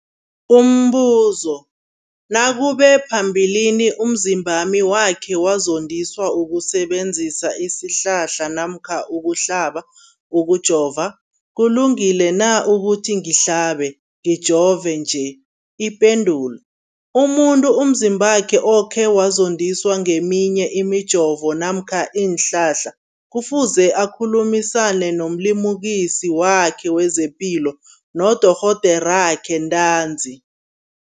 Umbuzo, nakube phambilini umzimbami wakhe wazondiswa kusebenzisa isihlahla namkha ukuhlaba, ukujova, kulungile na ukuthi ngihlabe, ngijove nje? Ipendulo, umuntu umzimbakhe okhe wazondiswa ngeminye imijovo namkha iinhlahla kufuze akhulumisane nomlimukisi wakhe wezepilo, nodorhoderakhe ntanzi.